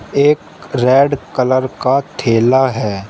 एक red colour का थैला है।